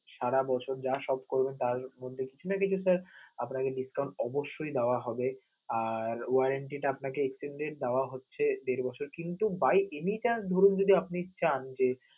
সারা বছর যা shop করবেন তার মধ্যে কিছু না কিছু sir আপনাকে discount অবশ্যই দেওয়া হবে, আর warranty টা আপনাকে extended দেওয়া হচ্ছে দেড় বছর কিন্তু by any chance ধরুন যদি আপনি চান যে